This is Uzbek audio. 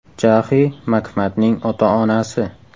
Jaxi Makmatning ota-onasi.